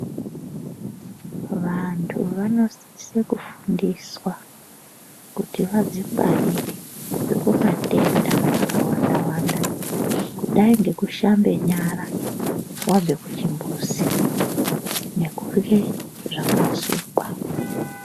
Vantu vanosise kufundiswa kuti vadzingwarire kubve kumatenda akawanda wanda, kudai nvekushambe nyara wabve kuchimbuzi nekurye zvakasukwa.